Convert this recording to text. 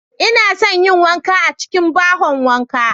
Inason yin wanka a cikin bahon wanka.